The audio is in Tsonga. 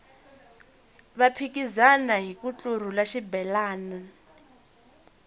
va phikizana hiku ntlurhula xibelani